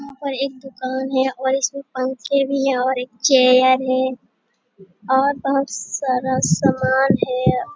यहाँ पर एक दुकान है और इसमें पंखे भी है और एक चेयर है और बहुत सारा समान है।